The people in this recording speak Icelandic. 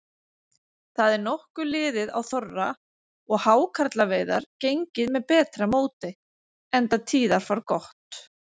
Það er nokkuð liðið á þorra og hákarlaveiðar gengið með betra móti, enda tíðarfar gott.